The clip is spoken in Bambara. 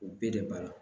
O bɛɛ de b'a la